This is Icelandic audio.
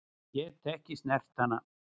Get ekki snert hana.